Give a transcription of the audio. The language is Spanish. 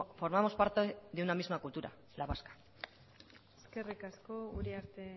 formamos parte de una misma cultura la vasca eskerrik asko uriarte